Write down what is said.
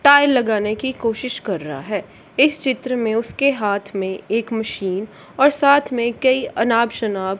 tile लगाने की कोशिश कर रहा है इस चित्र में उसके हाथ में एक मशीन और साथ में कई अनाब शनाब--